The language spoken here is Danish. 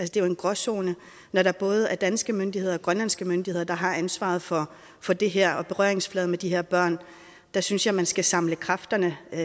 det er jo en gråzone når der både er danske myndigheder og grønlandske myndigheder der har ansvaret for for det her og har berøringsflader med de her børn der synes jeg man skal samle kræfterne ét